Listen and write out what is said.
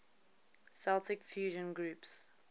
celtic fusion groups